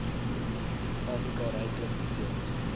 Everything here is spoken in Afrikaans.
afrika ryklik bedeeld